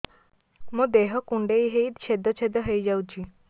ମୋ ଦେହ କୁଣ୍ଡେଇ ହେଇ ଛେଦ ଛେଦ ହେଇ ଯାଉଛି